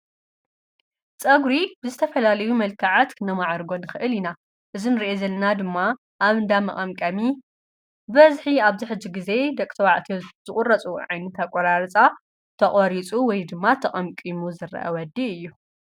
ጸፀጕሪ ዝተፈላልዩ መልከዓት ክነማዓርጎ ንኽእል ኢና፡፡ እዚንርዮ ዘለና ድማ ኣብ እንዳ መቐምቀሚ በዝሒ ኣብ ዝሕጅ ጊዜ ደቂ ተባዕትዮ ዝቝረፁዎ ዓይነት ኣቆራርፃ ተቖሪፁ ወይ ድማ ተቐምቂሙ ዝረአ ወዲ እዩ፡፡